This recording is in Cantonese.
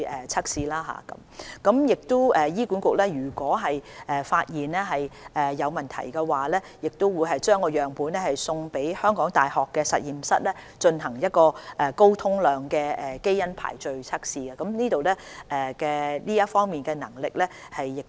如果醫管局發現有問題，會把樣本送交港大的實驗室進行高通量基因排序測試，這方面一直有效地進行。